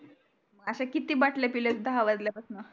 आशा कीती बाटल्या पिल्या दहा वाजल्या पासण